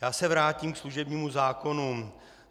Já se vrátím ke služebnímu zákonu.